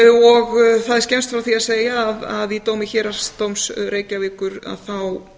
og það er skemmst frá því að segja að í dómi héraðsdóms reykjavíkur þá